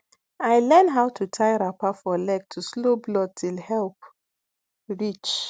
i learn how to tie wrapper for leg to slow blood till help reach